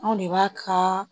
Anw de b'a ka